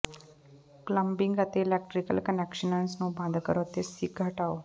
plumbing ਅਤੇ electrical connections ਨੂੰ ਬੰਦ ਕਰੋ ਅਤੇ ਸਿੰਕ ਹਟਾਓ